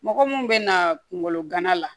Mɔgɔ mun bɛna kungolo gana la